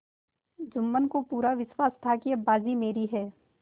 जुम्मन को पूरा विश्वास था कि अब बाजी मेरी है